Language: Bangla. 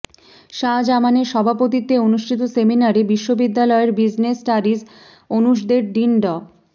শাহজামানের সভাপতিত্বে অনুষ্ঠিত সেমিনারে বিশ্ববিদ্যালয়ের বিজনেস স্টাডিজ অনুষদের ডিন ড